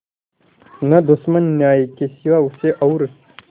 न दुश्मन न्याय के सिवा उसे और